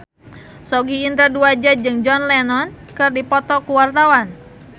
Sogi Indra Duaja jeung John Lennon keur dipoto ku wartawan